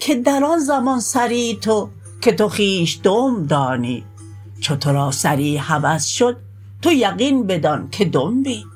که در آن زمان سری تو که تو خویش دنب دانی چو تو را سری هوس شد تو یقین بدانک دنبی